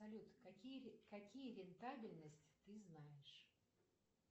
салют какие рентабельность ты знаешь